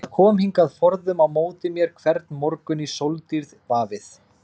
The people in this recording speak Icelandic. Það kom hingað forðum á móti mér hvern morgun í sóldýrð vafið.